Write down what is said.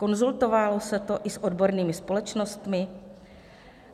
Konzultovalo se to i s odbornými společnostmi?